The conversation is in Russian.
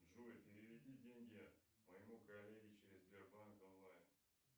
джой переведи деньги моему коллеге через сбербанк онлайн